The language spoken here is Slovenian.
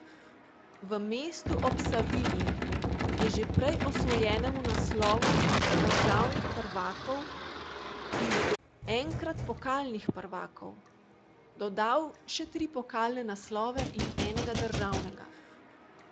V mestu ob Savinji je že prej osvojenemu naslovu državnih prvakov in enkrat pokalnih prvakov dodal še tri pokalne naslove in enega državnega.